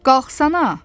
Qalxsana!